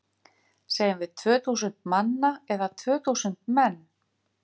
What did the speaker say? Segjum við tvö þúsund manna eða tvö þúsund menn?